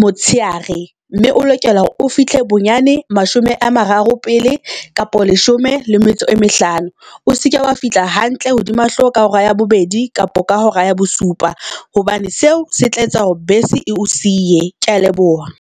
motsheare, mme o lokela hore o fihle bonyane mashome a mararo pele kapa leshome le metso e mehlano. O seke wa fihla hantle hodima hloho ka hora ya bobedi kapo ka hora ya bosupa hobane seo se tla etsa hore bese e o siye. Kea leboha.